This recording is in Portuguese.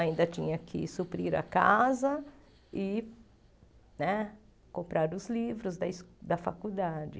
Ainda tinha que suprir a casa e né comprar os livros da es da faculdade.